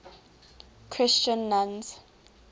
christian nuns